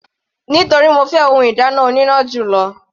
Nítorí mo fẹ́ ohun ìdáná oníná jù lọ.